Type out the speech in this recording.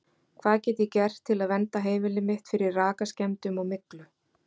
Hvað get ég gert til að vernda heimilið mitt fyrir rakaskemmdum og myglu?